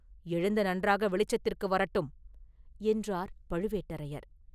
எழுந்து நன்றாக வெளிச்சத்திற்கு வரட்டும்!” என்றார் பழுவேட்டரையர்.